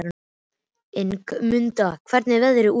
Ingimunda, hvernig er veðrið úti?